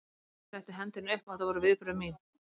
Hann setti hendina upp og þetta voru viðbrögð mín.